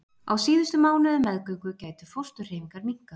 Á síðustu mánuðum meðgöngu gætu fósturhreyfingar minnkað.